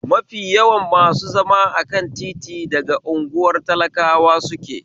Mafi yawan masu zama akan titi daga unguwar talakawa suke